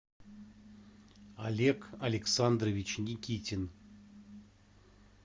олег александрович никитин